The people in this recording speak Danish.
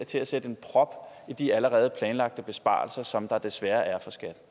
til at sætte en prop i de allerede planlagte besparelser som der desværre